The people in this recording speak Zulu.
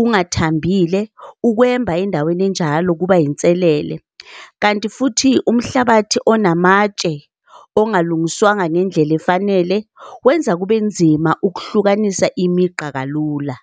ungathambile, ukwemba endaweni enjalo kuba inselele. Kanti futhi umhlabathi onamatshe ongalungiswanga ngendlela efanele wenza kube nzima ukuhlukanisa imigqa kalula.